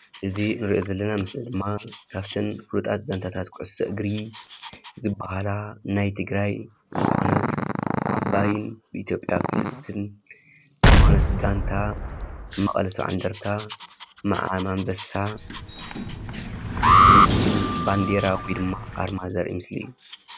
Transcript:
እዝ እኒርኦ ዘለና መስሊ ዲማ ካበተነ ፉሉጣት ጋኒታት ኩዖሶ እግር ዝባሃላ ናይ ትግራይ ዝኮነት ዓባይ ኢትዮጲያ ብልፅትኒ ዝኮነትጋኒታ መቀለ ሰባዓ እንደርታ ምዓም ኣምበሳ ዝዉከል ባኒዲራ ወይድማ ኣርማ ዘርእ ምስሊ እዩ፡፡